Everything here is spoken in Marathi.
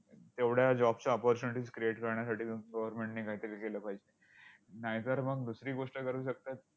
तेवढ्या job च्या opportunities create करण्यासाठी ग government ने कायतरी केलं पाहिजे. नायतर मग दुसरी गोष्ट करू शकतात,